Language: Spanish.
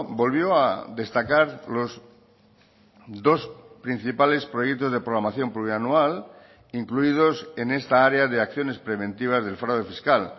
volvió a destacar los dos principales proyectos de programación plurianual incluidos en esta área de acciones preventivas del fraude fiscal